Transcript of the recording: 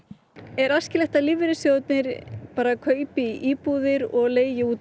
er æskilegt að lífeyrissjóðirnir kaupi íbúðir og leigi út